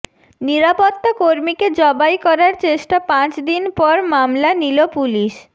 নিরাপত্তাকর্মীকে জবাই করার চেষ্টা পাঁচ দিন পর মামলা নিল পুলিশ